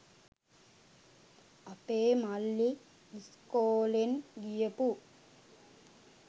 අපේ මල්ලි ඉස්කෝලෙන් ගියපු